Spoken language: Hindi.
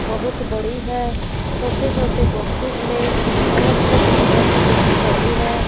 बहुत बड़ी है छोटे छोटे बॉक्सेस में अलग अलग तरह की बुक्स पड़ी है।